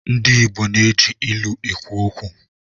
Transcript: Ndị Igbo na-eji ilu ekwu okwu.